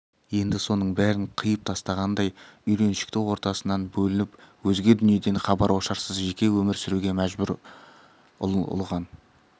енді соның бәрін қиып тастағандай үйреншікті ортасынан бөлініп өзге дүниеден хабар-ошарсыз жеке өмір сүруге мәжбүр ұлыған